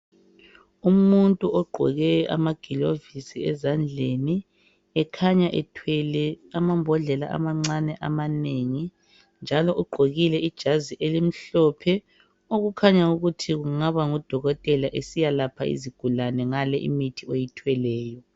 Umuntu ogqoke ama glovisi ezandleni. Ekhanya ethwele amambodlela amancane amanengi njalo ugqokile ijazi elimhlophe okukhanya ukuthi kungaba ngudokotela esiyalapha izigulane ngale imithi ayithweleyo.